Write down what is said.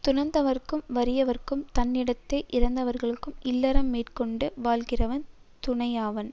துறந்தவர்கும் வறியவர்க்கும் தன்னிடத்தே இறந்தவர்க்கும் இல்லறம் மேற்கொண்டு வாழ்கிறவன் துணையாவான்